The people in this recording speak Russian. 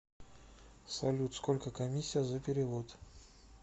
салют сколько комиссия за перевод